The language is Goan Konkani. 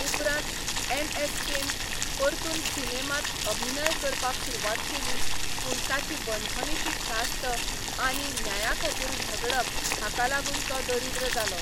उपरांत एनएसकेन परतून सिनेमांत अभिनय करपाक सुरवात केली, पूण ताची बंदखणीची ख्यास्त आनी न्याया खातीर झगडप हाका लागून तो दरिद्र जालो.